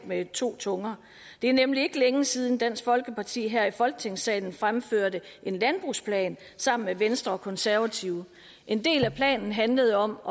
med to tunger det er nemlig ikke længe siden dansk folkeparti her i folketingssalen fremførte en landbrugsplan sammen med venstre og konservative en del af planen handlede om